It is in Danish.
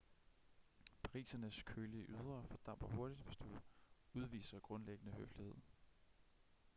parisernes kølige ydre fordamper hurtigt hvis du udviser grundlæggende høflighed